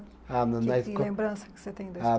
Ah na na esco. Que lembrança que você tem da